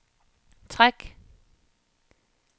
træk